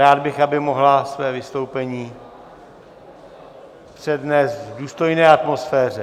Rád bych, aby mohla své vystoupení přednést v důstojné atmosféře.